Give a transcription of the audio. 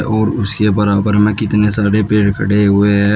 और उसके बराबर में कितने सारे पेड़ खड़े हुए हैं।